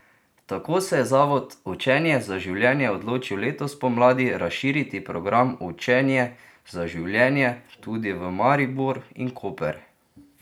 Tako se je Zavod Učenje za življenje odločil letos pomladi razširiti program Učenje za življenje tudi v Maribor in Koper!